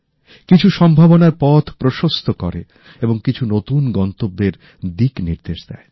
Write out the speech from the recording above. কিছু সম্ভাবনার পথ প্রশস্ত করে এবং কিছু নতুন গন্তব্যের দিকনির্দেশ দেয়